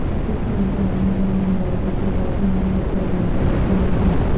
لداخ میں در اندازی کے بعد ہند و چین افواج کی میٹنگ